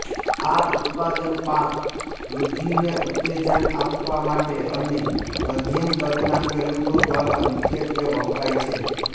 આ ઉત્પાદન પાક વૃદ્ધિને ઉત્તેજન આપવા મોટા અને મધ્યમ કદના ખેડૂતો દ્વારા મુખ્યત્વે વપરાય છે